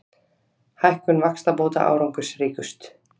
Hækkun vaxtabóta árangursríkust